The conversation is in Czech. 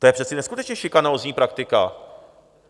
To je přece neskutečně šikanózní praktika.